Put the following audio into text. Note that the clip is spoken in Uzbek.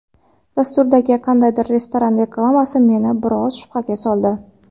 Dasturdagi qandaydir restoran reklamasi meni biroz shubhaga soldi.